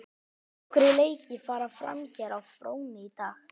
Nokkrir leiki fara fram hér á fróni í dag.